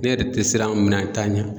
Ne yɛrɛ tɛ siran minan ta ɲa